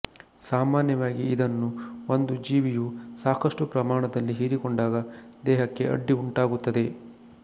ಸಾಮಾನ್ಯವಾಗಿ ಇದನ್ನು ಒಂದು ಜೀವಿಯು ಸಾಕಷ್ಟು ಪ್ರಮಾಣದಲ್ಲಿ ಹೀರಿಕೊಂಡಾಗ ದೇಹಕ್ಕೆ ಅಡ್ಡಿ ಉಂಟಾಗುತ್ತದೆ